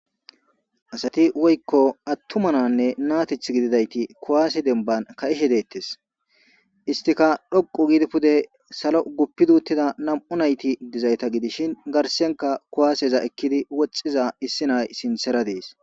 Asati woykko attumananne naatith gididayti kuwaasi denban ka'ishe deettes istika dhoqu giidi pude salo uguppiduuttida nam'u nayti dizayta gidishin garsenka kuwaaseza ekkidi woxxiza issi nay sintsera dees.